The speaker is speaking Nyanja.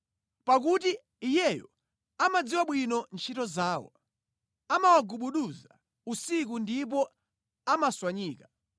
Pakuti Iyeyo amadziwa bwino ntchito zawo amawagubuduza usiku ndipo amatswanyika.